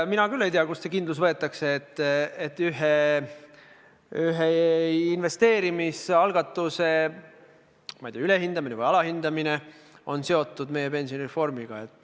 Mina küll ei tea, kust see kindlus võetakse, et ühe investeerimisalgatuse ülehindamine või alahindamine on seotud meie pensionireformiga.